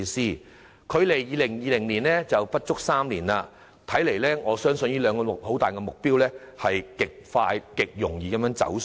現在距2020年尚有不足3年，如此看來，政府這兩大目標勢必極快速及極容易地"走數"。